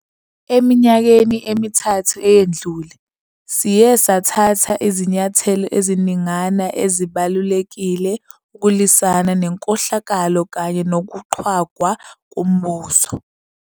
Eminyakeni emithathu eyedlule, siye sathatha izinyathelo eziningana ezibalulekile ukulwisana nenkohlakalo kanye nokuqhwagwa kombuso.